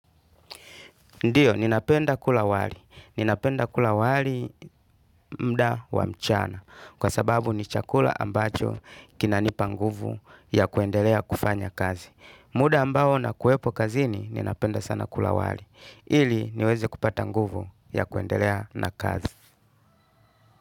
Ndiyo, ninapenda kula wali. Ninapenda kula wali mda wa mchana kwa sababu ni chakula ambacho kinanipa nguvu ya kuendelea kufanya kazi. Muda ambao na kuepo kazini ninapenda sana kula wali. Ili niweze kupata nguvu ya kuendelea na kazi.